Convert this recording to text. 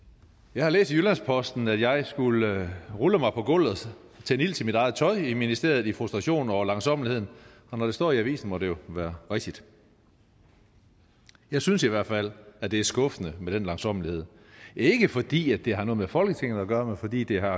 jeg har læst i jyllands posten at jeg skulle have rullet mig på gulvet og sat ild til mit eget tøj i ministeriet i frustration over langsommeligheden og når det står i avisen må det jo være rigtigt jeg synes i hvert fald at det er skuffende med den langsommelighed ikke fordi det har noget med folketinget at gøre men fordi det har